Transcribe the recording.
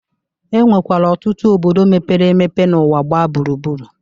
E nwekwara ọtụtụ obodo mepere emepe n'ụwa gbaa gburugburu.